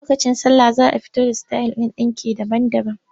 Lokacin sallah za a fito da sitayil ɗin ɗinki sababbi.